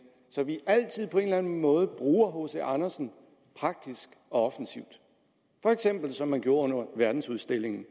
så vi altid på en eller anden måde bruger hc andersen praktisk og offensivt for eksempel som de gjorde under verdensudstillingen